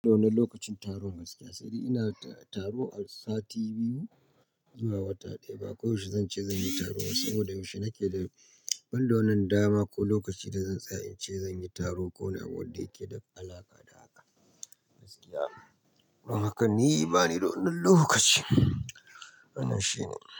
Ba don lokacin taron gaskiya, sai dai ina taro sati biyu zuwa wata ɗaya. Ba koyaushe zan ce zan yi taro ba saboda yaushe nake da wanda na dama ko lokacin da zan tsaya in ce zan yi taro ko wani abu wadda yake da alaƙa da haka gaskiya. Amma haka ni bani don lokaci. Wannan shine.